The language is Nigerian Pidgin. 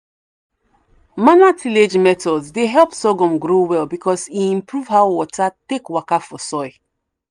manual tillage methods dey help sorghum grow well because e improve how water take waka for soil.